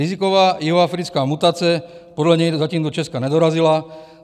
Riziková jihoafrická mutace podle něj zatím do Česka nedorazila.